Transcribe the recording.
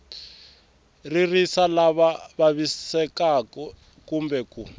ririsa lava vavisekaku kumbe ku